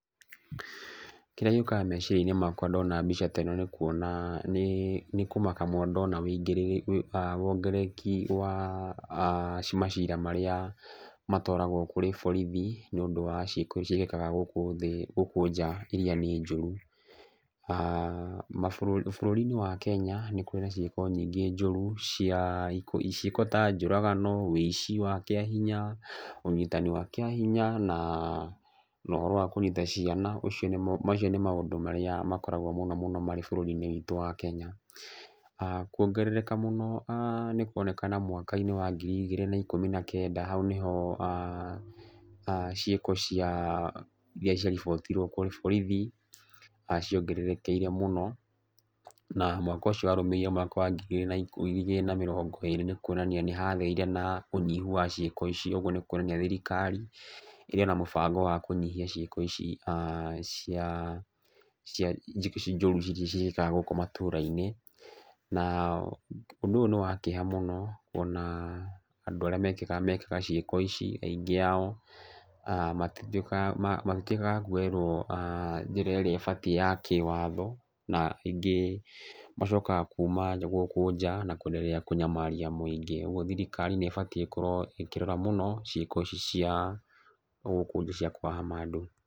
Kĩrĩa gĩũkaga meciria-inĩ makwa ndona mbica ta ĩno, nĩ kuona, nĩ kũmaka mũno ndona wongerereki wa macira marĩa matwaragwo kũrĩ borithi nĩ ũndũ wa ciĩko ciĩkĩkaga gũkũ nja irĩa nĩ njũru. Bũrũri wa Kenya nĩ kũrĩ na ciĩko nyingĩ njũru cia, ciĩko ta njũragano, ũici wa kĩahinya, ũnyitani wa kĩahinya na ũhoro wa kũnyita ciana. Ũcio nĩ, macio nĩ maũndũ marĩa makoragwo mũno mũno marĩ bũrũri-inĩ witũ wa Kenya. Kuongerereka mũno nĩ kũroneka mwaka-inĩ wa ngiri igĩrĩ na kenda, hau nĩho ciĩko cia irĩa cia ribotirwo kũrĩ borithi ciongererekeire mũno na mwaka ũcio warũmĩrĩire mwaka wa ngiri igĩrĩ na mĩrongo ĩĩrĩ nĩ kuonania nĩ hagĩire na ũnyihu wa ciĩko ici. Ũguo nĩ kuonania thirikari, ĩrĩ ona mũbango wa kũnyihia ciĩko ici njũru ciĩkĩkaga gũkũ matũra-inĩ. Na ũndũ ũyũ nĩ wa kĩeha mũno ona andũ arĩa mekaga ciĩko ici aingĩ ao, matituĩkaga a kuoerwo njĩra ĩrĩa ĩbatiĩ ya kĩwatho, na aingĩ macokaga kuma gũkũ nja na kũenderea kũnyamaria mũingĩ. Ũguo thirikari nĩ ĩbatiĩ ĩkorwo ĩkĩrora mũno ciĩko ici cia gũkũ nja cia kũnyamaria andũ.